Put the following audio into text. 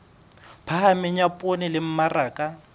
phahameng ya poone le mmaraka